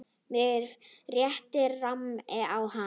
Mig rétt rámar í hann.